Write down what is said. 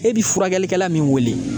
E bi furakɛlikɛla min wele